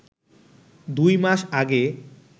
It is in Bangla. দুই মাস আগে